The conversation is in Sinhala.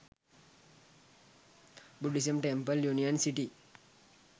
buddhism temple union city